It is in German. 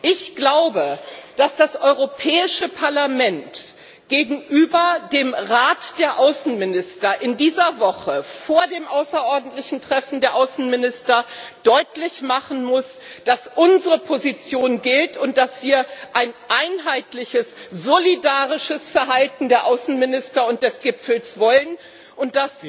Ich glaube, dass das Europäische Parlament gegenüber dem Rat der Außenminister in dieser Woche, vor dem außerordentlichen Treffen der Außenminister, deutlich machen muss, dass unsere Position gilt und dass wir ein einheitliches, solidarisches Verhalten der Außenminister und des Gipfels wollen. Und